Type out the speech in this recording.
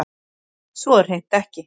Svo er hreint ekki